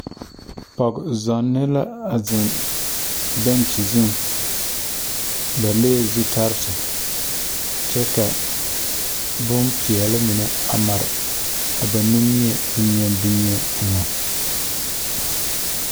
Pɔg zɔnne la ziŋ bɛnkyi zu. Ba le la zutalaare kyɛ ka bon peɛle mare ba zaa niŋe pʋɔ.